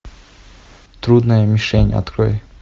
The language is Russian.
трудная мишень открой